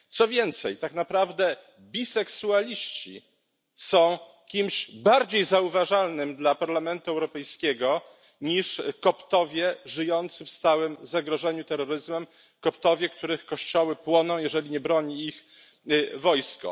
Co więcej tak naprawdę biseksualiści są kimś bardziej zauważalnym dla Parlamentu Europejskiego niż Koptowie żyjący w stałym zagrożeniu terroryzmem, Koptowie, których kościoły płoną, jeżeli nie broni ich wojsko.